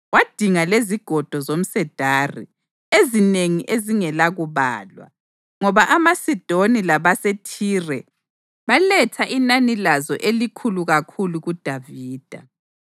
Wadinga lezigodo zomsedari ezinengi ezingelakubalwa, ngoba amaSidoni labaseThire baletha inani lazo elikhulu kakhulu kuDavida.